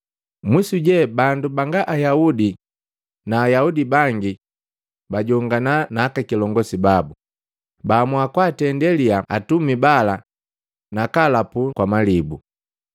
Mwisu je, bandu banga Ayaudi na Ayaudi bangi bajongana na akakilongosi babu, baahamua kwaatende liya atumi bala nakaapega na malibu.